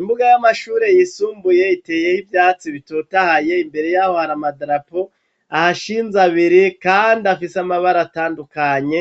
Imbuga y'amashure yisumbuye iteyeho iyatsi bitotahaye imbere yaho har'amadarapo ahashinze abiri kandi afise amabara atandukanye,